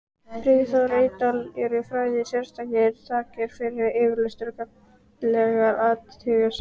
Friðþóri Eydal eru færðar sérstakar þakkir fyrir yfirlestur og gagnlegar athugasemdir.